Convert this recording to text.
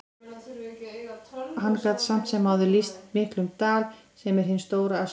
Hann gat samt sem áður lýst miklum dal, sem er hin stóra Askja.